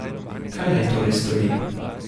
Kaj naj torej stori?